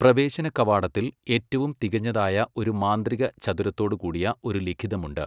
പ്രവേശനകവാടത്തിൽ ഏറ്റവും തികഞ്ഞതായ ഒരു മാന്ത്രിക ചതുരത്തോടുകൂടിയ ഒരു ലിഖിതമുണ്ട്.